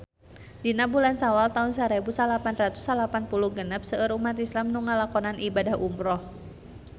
Dina bulan Sawal taun sarebu salapan ratus salapan puluh genep seueur umat islam nu ngalakonan ibadah umrah